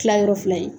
Tila yɔrɔ fila ye